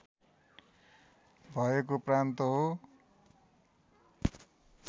भएको प्रान्त हो